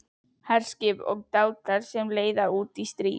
HERSKIP OG DÁTAR SEM LEIÐIR ÚT Í STRÍÐ